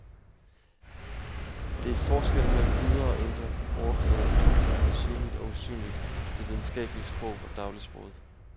Det er forskellen mellem ydre og indre, overflade og dybde, synligt og usynligt, det videnskabelige sprog og dagligsproget.